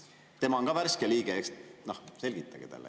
Tema on ka värske liige, selgitage talle.